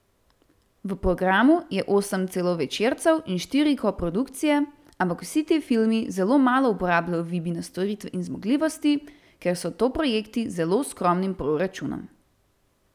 V programu je osem celovečercev in štiri koprodukcije, ampak vsi ti filmi zelo malo uporabljajo Vibine storitve in zmogljivosti, ker so to projekti z zelo skromnim proračunom.